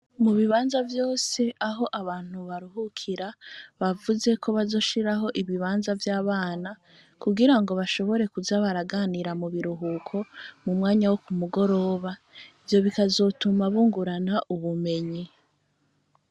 Mu bibanza vyose aho abantu baruhukira, bavuze ko bazoshiraho ibibanza vy'abana, kugira ngo bashobore kuza baraganira mu biruhuko mu mwanya wo ku mugoroba, ivyo bikazotuma bungurana ubumenyi.